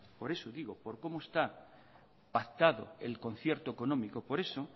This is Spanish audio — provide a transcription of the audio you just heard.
por eso digo por cómo está pactado el concierto económico por eso